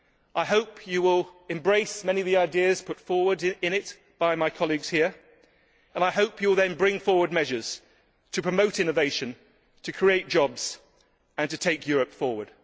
I hope you will embrace many of the ideas put forward in it by my colleagues here, and I hope you will then bring forward measures to promote innovation, create jobs and take Europe forward.